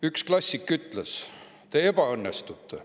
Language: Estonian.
Üks klassik ütles: "Te ebaõnnestute.